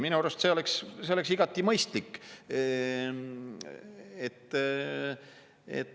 Minu arust oleks see igati mõistlik.